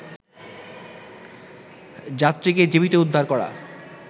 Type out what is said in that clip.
যাত্রীকে জীবিত উদ্ধার করা